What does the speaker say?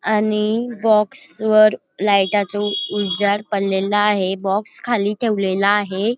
आणि बॉक्स वर लाईटाचा उजेड पडलेला आहे बॉक्स खाली ठेवलेला आहे.